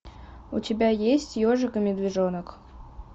у тебя есть ежик и медвежонок